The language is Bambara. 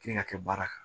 Kilen ka kɛ baara kan